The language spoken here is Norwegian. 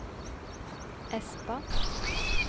Espa